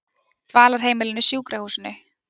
Dvalarheimilinu Sjúkrahúsinu